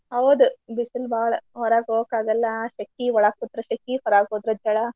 ಹೌದು ಬಿಸಲ್ ಬಾಳಾ. ಹೊರಾಗೋಗಕಾಗಲ್ಲಾ ಶೆಕಿ ಒಳಗ್ ಕುತ್ರ ಶೆಕಿ ಹೊರಾಗ್ ಹೋದ್ರ ಝಳ.